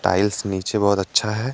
Tiles नीचे बहुत अच्छा है।